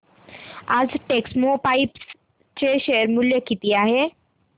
आज टेक्स्मोपाइप्स चे शेअर मूल्य किती आहे